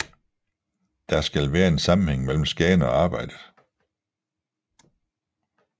Der skal være en sammenhæng mellem skaden og arbejdet